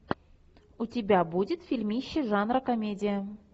у тебя будет фильмище жанра комедия